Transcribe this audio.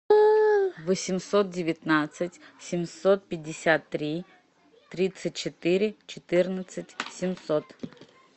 восемьсот девятнадцать семьсот пятьдесят три тридцать четыре четырнадцать семьсот